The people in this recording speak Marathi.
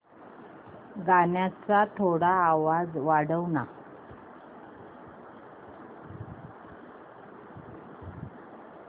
गाण्याचा थोडा आवाज वाढव ना